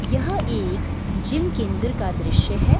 यह एक जिम के अंदर का दृश्य है |